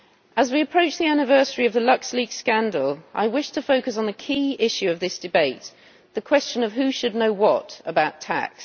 As we approach the anniversary of the Luxleaks scandal, I wish to focus on a key issue of this debate the question of who should know what about tax.